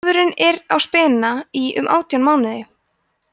kálfurinn er á spena í um átján mánuði